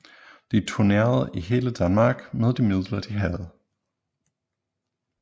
De turnerede i hele Danmark med de midler de havde